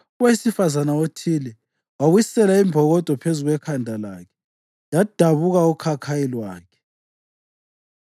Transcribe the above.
owesifazane othile wawisela imbokodo phezu kwekhanda lakhe yadabula ukhakhayi lwakhe.